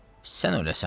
Sən öləsən.